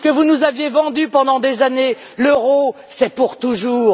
C'est ce que vous nous avez vendu pendant des années l'euro, c'est pour toujours.